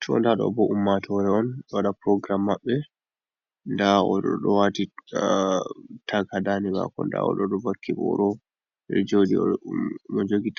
To ɗa ɗo ɓo, ummatore on wada program maɓɓe, ɗa oɗo ɗo ɗowati tak hadaɗe bako, ɗa oɗo ɗovakki boro, ɓe ɗo jodi, mo joɗi